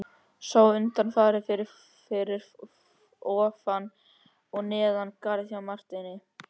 Sá undanfari fór fyrir ofan og neðan garð hjá Marteini.